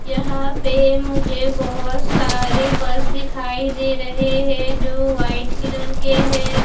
यहां पे मुझे बहोत सारे बस दिखाई दे रहे हैं जो व्हाइट कलर के है।